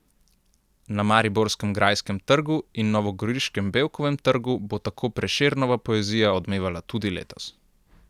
Na mariborskem Grajskem trgu in novogoriškem Bevkovem trgu bo tako Prešernova poezija odmevala tudi letos.